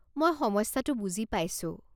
মই সমস্যাটো বুজি পাইছোঁ।